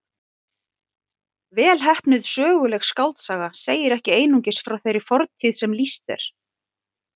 Vel heppnuð söguleg skáldsaga segir ekki einungis frá þeirri fortíð sem lýst er.